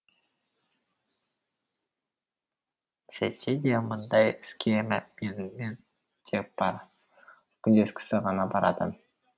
сөйтсе де мұндай іске менімен тек бақ күндес кісі ғана барады